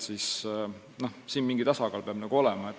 Siin peab mingi tasakaal olema.